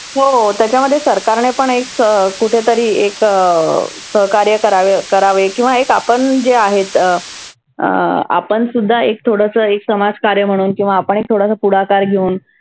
हो हो त्याच्यामध्ये सरकारने पण एक अं कुठेतरी एक अं सहकार्य करावे करावे. किंवा आपण जे आहेत अं आपण सुद्धा एक थोडसं एक समाज कार्य म्हणून किंवा आपण एक थोडासा पुढाकार घेऊन